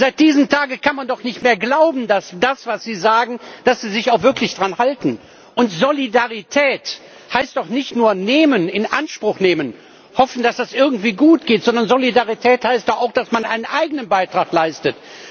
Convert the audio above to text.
Seit diesem Tage kann man doch nicht mehr glauben, dass Sie sich wirklich an das halten, was Sie sagen. Und Solidarität heißt doch nicht nur nehmen, in Anspruch nehmen, hoffen, dass das irgendwie gut geht. Sondern Solidarität heißt doch auch, dass man einen eigenen Beitrag leistet.